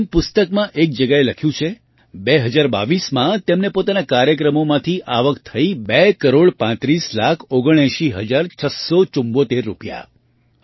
જેમ પુસ્તકમાં એક જગ્યાએ લખ્યું છે 20૨૨માં તેમને પોતાના કાર્યક્રમોથી આવક થઈ બે કરોડ પાંત્રીસ લાખ ઓગણએંસી હજાર છસ્સો ચુમ્મોતેર રૂપિયા